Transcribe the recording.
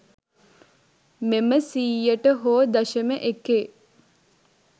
මෙම සියයට හෝ දශම එකේ